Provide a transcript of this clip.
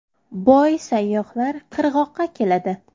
Boy sayyohlar qirg‘oqqa keladi.